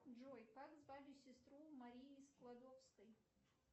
джой как звали сестру марии складовской